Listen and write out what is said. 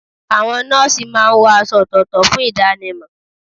Àwọn nọ́ọ̀sì máa ń wọ aṣọ ọ̀tọ̀ọ̀tọ̀ fún ìdánimọ̀.